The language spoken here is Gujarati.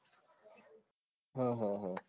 હા હા હા